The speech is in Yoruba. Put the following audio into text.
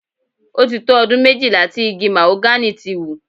Ó ti tó ọdún méjìlá tí igi màhógánì ti wù.